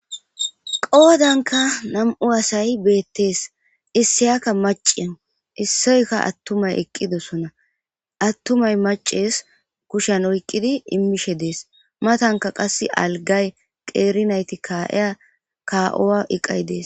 Qoodanka nam'u asay beettees issiyakka macien issoyka attumay eqqidosona attumay maces kushen oyqqidi immishe dees matanka qass algay qeerinayti kaa'eya ka'oa iqay dees